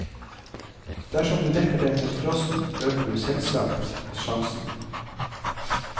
Dersom du dekker dem mot frosten, øker du selvsagt sjansen.